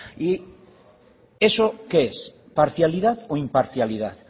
y eso qué es parcialidad o imparcialidad